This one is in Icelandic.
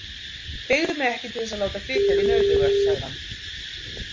Beygðu mig ekki til þess að láta flytja þig nauðuga, sagði hann.